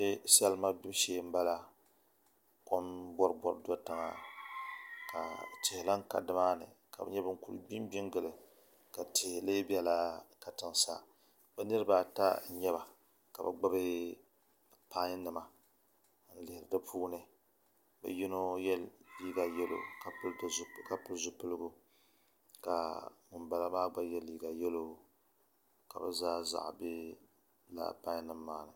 Salima gbibu shee n bala kom boribori do tiŋa ka tihi lahi ka dimaani ka bi nyɛ bin kuli gbi n gbi n gili ka tihi lee biɛla katiŋ sa bi niraba ata n nyɛba ka bi gbubi pai nima n lihiri di puuni bi yino yɛ liiga yɛlo ka pili zipiligu ka ŋunbala maa gba yɛ liiga yɛlo ka bi zaa zaɣ bɛ laa pai nim maa ni